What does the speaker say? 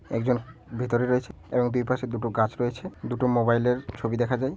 একজন ভিতরে রয়েছে এবং দুইপাশে দুটো গাছ রয়েছে দুটো মোবাইল এর ছবি দেখা যায়।